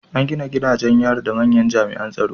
An gina gidajen yari da manyan jami’an tsaro